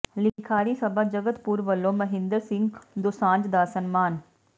ਲਿਖਾਰੀ ਸਭਾ ਜਗਤਪੁਰ ਵੱਲੋਂ ਮਹਿੰਦਰ ਸਿੰਘ ਦੋਸਾਂਝ ਦਾ ਸਨਮਾਨ